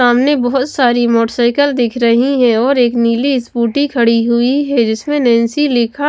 सामने बहुत सारी मोटरसाइकिल दिख रही हैं और एक नीली स्कूटी खड़ी हुई है जिसमें नैंसी लिखा--